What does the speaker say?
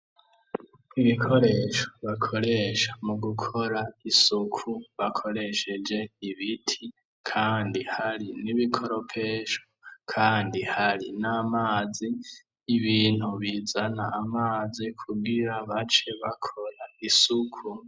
Ibikoresho bakoresha mu gukora isuku bakoresheje ibiti, kandi hari n'ibikoropesho, kandi hari n'amazi, ibintu bizana amazi kugira bace bakora isuku.